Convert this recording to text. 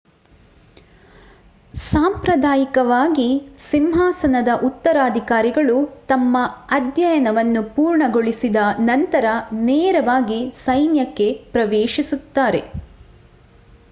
ಸಾಂಪ್ರದಾಯಿಕವಾಗಿ ಸಿಂಹಾಸನದ ಉತ್ತರಾಧಿಕಾರಿಗಳು ತಮ್ಮ ಅಧ್ಯಯನವನ್ನು ಪೂರ್ಣಗೊಳಿಸಿದ ನಂತರ ನೇರವಾಗಿ ಸೈನ್ಯಕ್ಕೆ ಪ್ರವೇಶಿಸುತ್ತಾರೆ